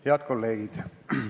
Head kolleegid!